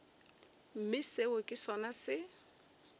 mme seo ke sona se